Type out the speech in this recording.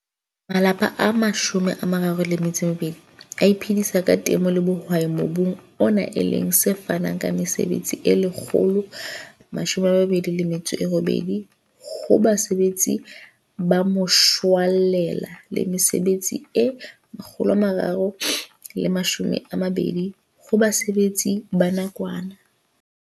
Malapa a 32 a iphedisa ka temo le bohwai mobung ona e leng se fanang ka mesebetsi e 128 ho basebetsi ba moshwelella le mesebetsi e 320 ho basebetsi ba nakwana.